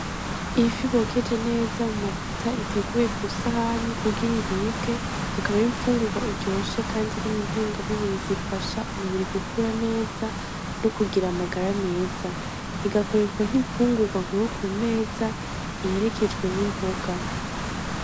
Ifi bokeje neza mu mavuta iteguye Ku sahani kugira iribwe akaba ari infungugwa iryoshe kandi irimwo intungamuburi zifasha umubiri gukura neza n' ukugira amagara meza, igakoreshwa nk'ifungugwa nkuru ku meza iherekejwe n' imboga.